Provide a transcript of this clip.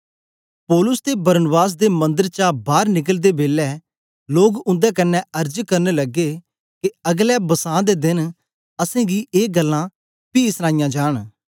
पौलुस ते बरनाबास दे मन्दर चा बार निकलदे बेलै लोग उन्दे कन्ने अर्ज करन लगे के अगलै बसां दे देन असेंगी ए गल्लां पी सनाया जांन